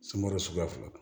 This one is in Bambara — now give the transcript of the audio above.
Sungaro suguya fila